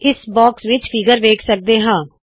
ਇਸ ਬਾਕ੍ਸ ਵਿੱਚ ਫ਼ੀਗਰ ਵੇਖ ਸਕਦੇ ਹਾੰ